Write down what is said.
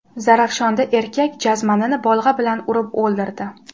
Zarafshonda erkak jazmanini bolg‘a bilan urib o‘ldirdi.